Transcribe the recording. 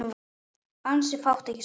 Ansi fátt ekki satt?